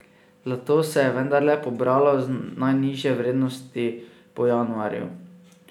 Zlato se je vendarle pobralo z najnižje vrednosti po januarju.